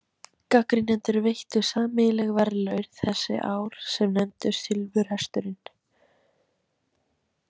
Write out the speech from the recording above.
Gagnrýnendur veittu sameiginleg verðlaun þessi ár, sem nefndust silfurhesturinn.